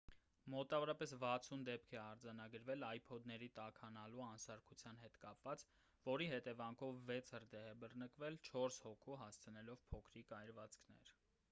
մոտավորապես 60 դեպք է արձանագրվել ipod-ների տաքանալու անսարքության հետ կապված որի հետևանքով վեց հրդեհ է բռնկվել՝ չորս հոգու հասցնելով փոքրիկ այրվածքներ: